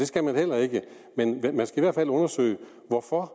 skal man heller ikke men man skal i hvert fald undersøge hvorfor